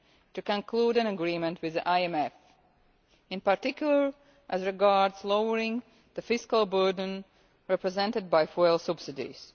to conclude an agreement with the IMF in particular as regards lowering the fiscal burden represented by fuel subsidies.